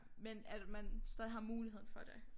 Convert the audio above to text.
Men at man stadig har muligheden for det